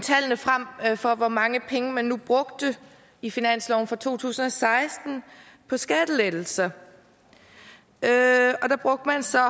tallene frem for hvor mange penge man nu brugte i finansloven for to tusind og seksten på skattelettelser og der brugte man så